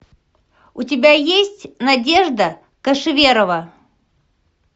у тебя есть надежда кошеверова